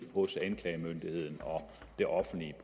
også anklagemyndigheden og det offentlige